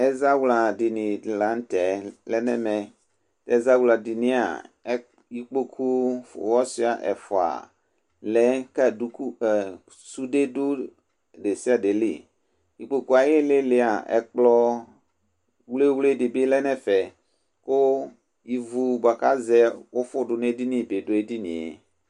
ɛzawla dini lantɛ lɛnʋ ɛmɛ, ɛzawla dinia, ikpɔkʋ ɔza ɛƒʋa lɛ kʋ sʋdɛ dʋ ɛdɛsia dɛ li, ili lia ɛkplɔ wlɛ wlɛ dibi lɛnʋ ɛƒɛ kʋ ivʋ bʋakʋ azɛ ʋƒʋ bi dʋ ɛdiniɛ